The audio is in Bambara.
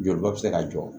Jolibɔ bɛ se ka jɔ